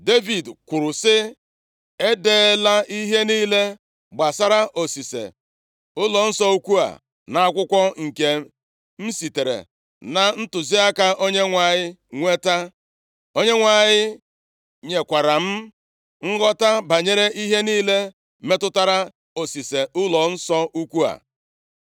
Devid kwuru sị, “E deela ihe niile gbasara osise ụlọnsọ ukwu a nʼakwụkwọ nke m sitere na ntụziaka Onyenwe anyị nweta. Onyenwe anyị nyekwara m nghọta banyere ihe niile metụtara osise ụlọnsọ ukwu a.”